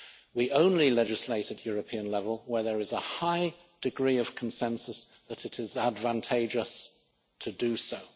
We only legislate at European level where there is a high degree of consensus that it is advantageous to do so.